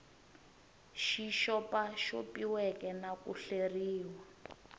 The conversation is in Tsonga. xi xopaxopiweke na ku hleriwa